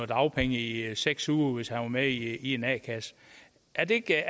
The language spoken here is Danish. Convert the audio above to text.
dagpenge i seks uger hvis han var med i en a kasse er det ikke